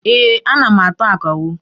Ee, ana m atụ akawo.